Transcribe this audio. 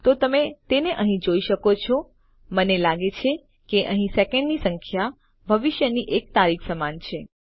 તો તમે તેને અહીં જોઈ શકો છો મને લાગે છે કે અહીં સેકન્ડની સંખ્યા ભવિષ્યની એક તારીખ સમાન છે